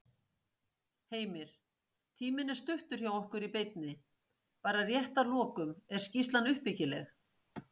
Heimir: Tíminn er stuttur hjá okkur í beinni. bara rétt að lokum, er skýrslan uppbyggileg?